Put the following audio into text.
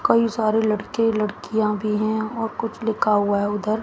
कई सारे लड़के लड़कियां भी हैं और कुछ लिखा हुआ है उधर--